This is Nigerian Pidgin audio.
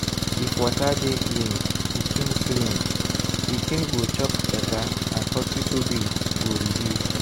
if water dey clean pikin clean pikin go chop better and hospital bill go reduce.